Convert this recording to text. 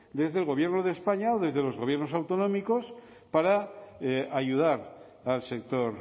desde el gobierno de españa o desde los gobiernos autonómicos para ayudar al sector